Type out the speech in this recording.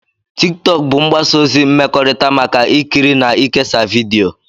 TikTok bụ mgbasa ozi mmekọrịta maka ikiri na ikesa vidiyo